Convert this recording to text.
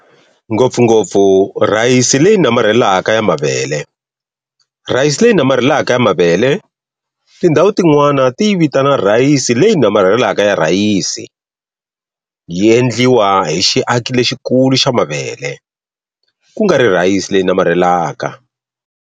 Ngopfungopfu, rhayisi"leyi namarhelaka ya mavele", rhayisi leyi namarhelaka ya mavele, tindhawu tin'wana ti yi vitana rhayisi leyi namarhelaka ya rhayisi, yi endliwa hi xiaki lexikulu xa mavele, ku nga ri rhayisi leyi namarhelaka.